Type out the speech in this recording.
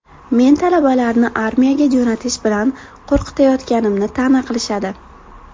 Men talabalarni armiyaga jo‘natish bilan qo‘rqitayotganimni ta’na qilishadi.